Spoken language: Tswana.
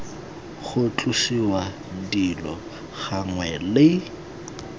ga tlosiwa dilo gangwe le